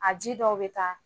A ji dɔw bɛ taa